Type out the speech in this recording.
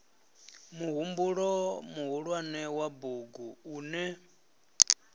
muhumbulo muhulwane wa bugu une